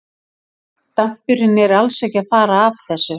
Dampurinn er alls ekki að fara af þessu.